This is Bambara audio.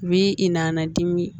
Bi i nan' dimi